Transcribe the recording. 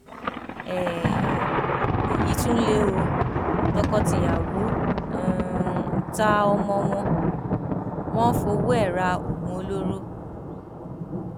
um èyí tún lé o tọkọtìyàwó um ta ọmọ wọn wọn fọwọ ẹ ra oògùn olóró